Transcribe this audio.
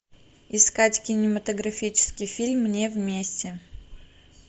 искать кинематографический фильм не вместе